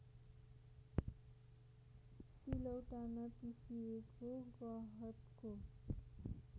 सिलौटामा पिसिएको गहतको